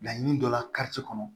Laɲini dɔ la kɔnɔ